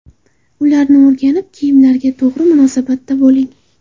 Ularni o‘rganib, kiyimlarga to‘g‘ri munosabatda bo‘ling.